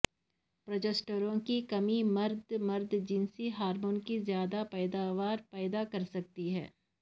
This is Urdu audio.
پروجسٹرون کی کمی مرد مرد جنسی ہارمون کی زیادہ پیداوار پیدا کرسکتی ہے